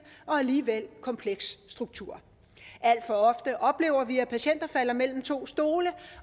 og alligevel kompleks struktur alt for ofte oplever vi at patienter falder ned mellem to stole